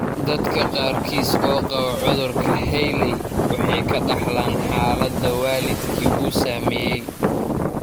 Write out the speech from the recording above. Dadka qaarkiis oo qaba cudurka Hailey Hailey waxay ka dhaxlaan xaalada waalidkii uu saameeyay.